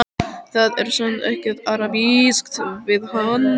Það er samt ekkert arabískt við hann.